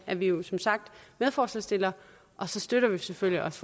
er vi vi som sagt medforslagsstillere og så støtter vi selvfølgelig også